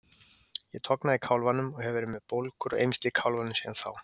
Ég tognaði í kálfanum og hef verið með bólgur og eymsli í kálfanum síðan þá.